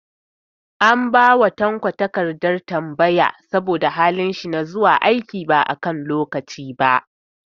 An ba Tanko takardar tambaya saboda halin shi na zuwa aiki ba a kan lokaci ba.